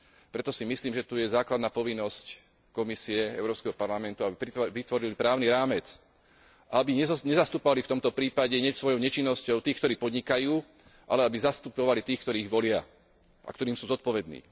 Preto si myslím, že tu je základná povinnosť Komisie, Európskeho parlamentu, aby vytvorili právny rámec, aby nezastupovali v tomto prípade svojou nečinnosťou tých, ktorí podnikajú, ale aby zastupovali tých, ktorí ich volia a ktorým sú zodpovední.